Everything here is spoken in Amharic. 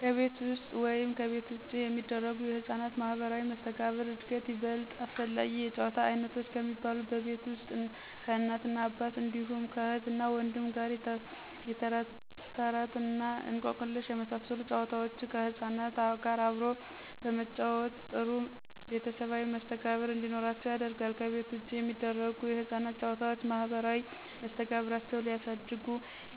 ከቤት ውስጥ ወይም ከቤት ውጭ የሚደረጉ ለሕፃናት ማህበራዊ መስተጋብር ዕድገት ይበልጥ አስፈላጊ የጨዋታ ዓይነቶች ከሚባሉት በቤት ውስጥ ከእናትና አባት እንዲሁም ከእህትና ወንድም ጋር የተረትተረት እና እንቆቅልሽ የመሳሰሉ ጨዋታዎችን ከሕፃናት ጋር አብሮ በመጫወት ጥሩ ቤተሰባዊ መስተጋብር እንዲኖራቸው ያደርጋል፤ ከቤት ውጭ የሚደረጉ የሕፃናት ጨዋታዎች ማህበራዊ መስተጋብራቸውን ሊያሳድጉ